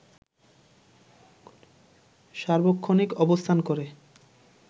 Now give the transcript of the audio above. সার্বক্ষণিক অবস্থান করে